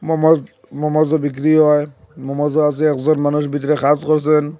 Moms মমোসও বিক্রি হয় মমোসও আছে একজন মানুষ ভিতরে কাজ করছেন।